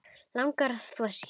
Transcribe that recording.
Langar að þvo sér.